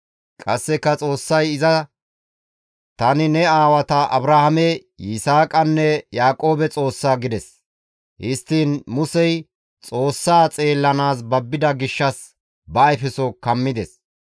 Qasseka Xoossay iza, «Tani ne aawata Abrahaame, Yisaaqanne Yaaqoobe Xoossa» gides. Histtiin Musey Xoossaa xeellanaas babbida gishshas ba ayfeso kammides.